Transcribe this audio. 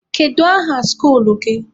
Kedu aha skuluu gị?